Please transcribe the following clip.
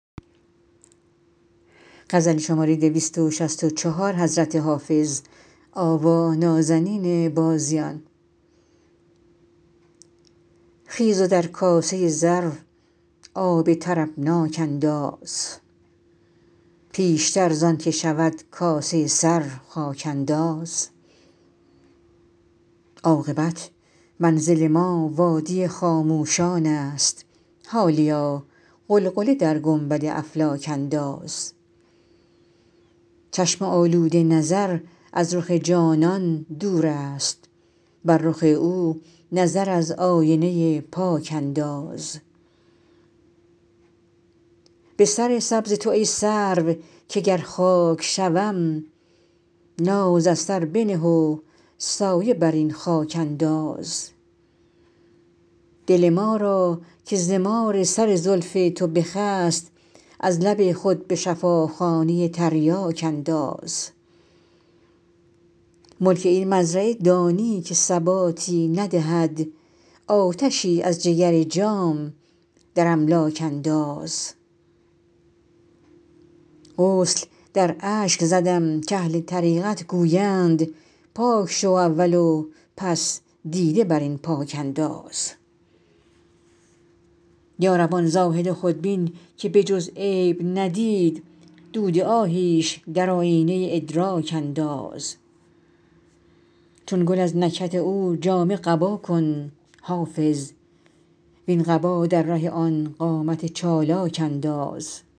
خیز و در کاسه زر آب طربناک انداز پیشتر زان که شود کاسه سر خاک انداز عاقبت منزل ما وادی خاموشان است حالیا غلغله در گنبد افلاک انداز چشم آلوده نظر از رخ جانان دور است بر رخ او نظر از آینه پاک انداز به سر سبز تو ای سرو که گر خاک شوم ناز از سر بنه و سایه بر این خاک انداز دل ما را که ز مار سر زلف تو بخست از لب خود به شفاخانه تریاک انداز ملک این مزرعه دانی که ثباتی ندهد آتشی از جگر جام در املاک انداز غسل در اشک زدم کاهل طریقت گویند پاک شو اول و پس دیده بر آن پاک انداز یا رب آن زاهد خودبین که به جز عیب ندید دود آهیش در آیینه ادراک انداز چون گل از نکهت او جامه قبا کن حافظ وین قبا در ره آن قامت چالاک انداز